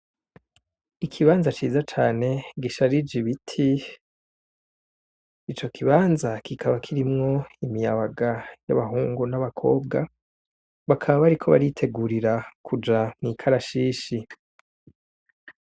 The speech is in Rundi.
Ikibanza ciza cane gisharije ibiti, ico kibanza kikaba kirimwo imiyabaga y' abahungu n' abakobwa, bakaba bariko baritegurira kuja mw' ikarashishi.